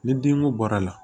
Ni denko bɔra la